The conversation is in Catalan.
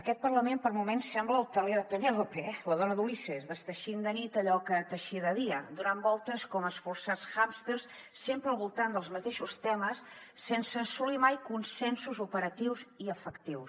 aquest parlament per moments sembla el teler de penélope la dona d’ulisses desteixint de nit allò que teixia de dia donant voltes com esforçats hàmsters sempre al voltant dels mateixos temes sense assolir mai consensos operatius ni efectius